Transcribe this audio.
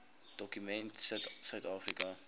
dokument sit suidafrika